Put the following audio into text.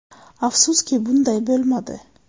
Afsuski, bunday bo‘lmadi.